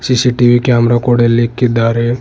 CCTV camera ಕೂಡ ಇಲ್ಲಿ ಇಕ್ಕಿದಾರೆ.